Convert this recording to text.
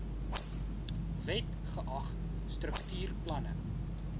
wet geag struktuurplanne